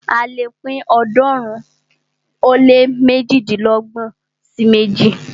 A lè pín ọ̀ọ́dúnrún ó lé méjìdínlọ́gbọ̀n sí méjì.